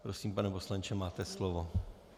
Prosím, pane poslanče, máte slovo.